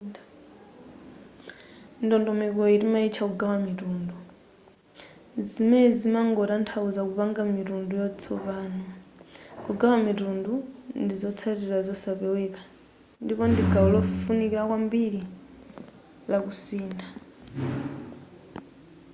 ndondomeko iyi timaitcha kugawa mitundu zimene zimangotanthauza kupanga mitundu yatsopano kugawa mitundu ndi zotsatira zosapeweka ndipo ndi gawo lofunikira kwambiri la kusintha